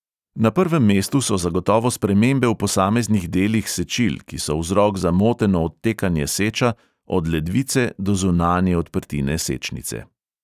Na prvem mestu so zagotovo spremembe v posameznih delih sečil, ki so vzrok za moteno odtekanje seča od ledvice do zunanje odprtine sečnice.